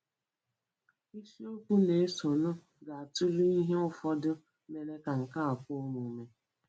Isiokwu na-esonụ ga-atụle ihe ụfọdụ mere ka nke a kwe omume.